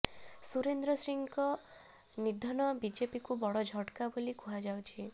ସୁରେନ୍ଦ୍ର ସିଂଙ୍କ ନିଦ୍ଧନ ବିଜେପିକୁ ବଡ ଝଟକା ବୋଲି କୁହାଯାଉଛି